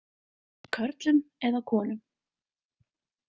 Körlum eða konum?